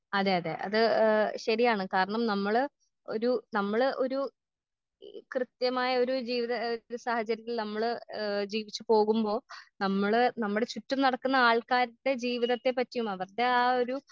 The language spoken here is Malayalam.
അതെ അതെ ഏ ശെരിയാണ് കാരണം നമ്മള് ഒരു നമ്മള് ഒരു ഈ കൃത്യമായ ഒരു ജീവിത ഏ സാഹചര്യത്തിൽ നമ്മള് ഏ ജീവിച്ചു പോകുമ്പൊ നമ്മള് നമ്മളെ ചുറ്റും നടക്കുന്ന ആൾക്കാര്ടെ ജീവിതത്തെ പറ്റിയും അവർടെ ആ ഒരു.